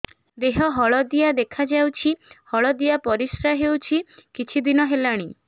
ଦେହ ହଳଦିଆ ଦେଖାଯାଉଛି ହଳଦିଆ ପରିଶ୍ରା ହେଉଛି କିଛିଦିନ ହେଲାଣି